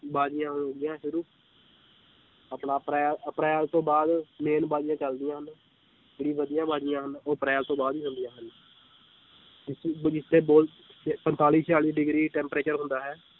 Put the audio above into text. ਬਾਜੀਆਂ ਹੋ ਗਈਆਂ ਸ਼ੁਰੂ ਆਪਾਂ ਅਪ੍ਰੈ~ ਅਪ੍ਰੈਲ ਤੋਂ ਬਾਅਦ main ਬਾਜ਼ੀਆਂ ਚੱਲਦੀਆਂ ਹਨ, ਜਿਹੜੀ ਵਧੀਆ ਬਾਜ਼ੀਆਂ ਹਨ ਉਹ ਅਪ੍ਰੈਲ ਤੋਂ ਬਾਅਦ ਹੀ ਚੱਲਦੀਆਂ ਹਨ ਪੰਤਾਲੀ ਛਿਆਲੀ degree temperature ਹੁੰਦਾ ਹੈ